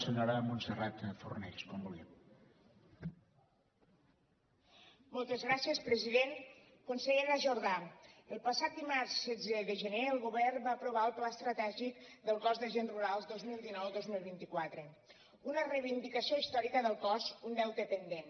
consellera jordà el passat dimarts setze de gener el govern va aprovar el pla estratègic del cos d’agents rurals dos mil dinou dos mil vint quatre una reivindicació històrica del cos un deute pendent